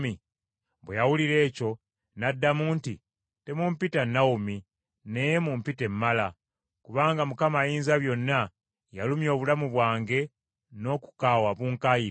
Bwe yawulira ekyo, n’abaddamu nti, “Temumpita Nawomi, naye mumpite Mala, kubanga Ayinzabyonna yalumya obulamu bwange n’okukaawa bunkayiridde.